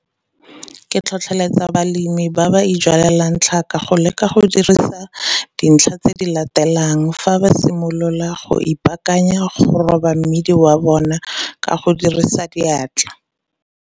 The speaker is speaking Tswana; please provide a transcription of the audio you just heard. Ke tlhotlheletsa balemi ba ba ijwalelang tlhaka go leka go dirisa dintlha tse di latelang fa ba simolola go ipaakanya go roba mmidi wa bona ka go dirisa diatla.